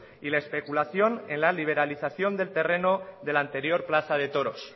y la especulación en la liberalización del terreno de la anterior plaza de toros